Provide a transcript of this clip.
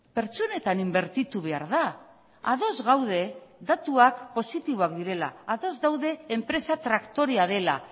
pertsonetan inbertitu behar da ados gaude datuak positiboak direla ados gaude enpresa traktorea dela